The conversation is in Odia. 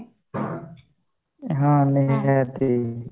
ହଁ